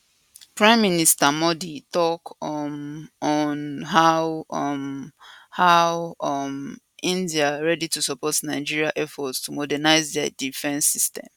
prime minister modi tok um on how um how um india ready to support nigeria effort to modernize di defence system